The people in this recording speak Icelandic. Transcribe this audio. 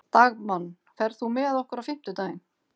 Dagmann, ferð þú með okkur á fimmtudaginn?